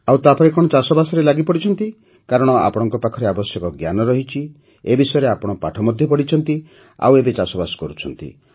ଆଉ ତାପରେ କଣ ଚାଷବାସରେ ଲାଗିପଡ଼ିଛନ୍ତି କାରଣ ଆପଣଙ୍କ ପାଖରେ ଆବଶ୍ୟକ ଜ୍ଞାନ ରହିଛି ଏ ବିଷୟରେ ଆପଣ ପାଠ ମଧ୍ୟ ପଢ଼ିଛନ୍ତି ଆଉ ଏବେ ଚାଷବାସ କରୁଛନ୍ତି